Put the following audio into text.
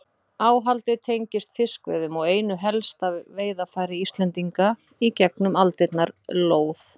Áhaldið tengist fiskveiðum og einu helsta veiðarfæri Íslendinga í gegnum aldirnar, lóð.